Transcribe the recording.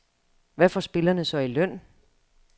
Hvad får spillerne så i løn?